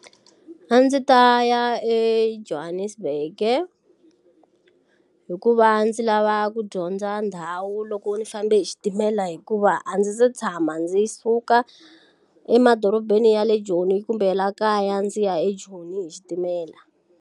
A ndzi ta ya eJohannesburg, hikuva ndzi lava ku dyondza ndhawu loko ndzi famba hi xitimela hikuva a ndzi se tshama ndzi suka, emadorobeni ya le Joni kumbe la kaya ndzi ya eJoni hi xitimela.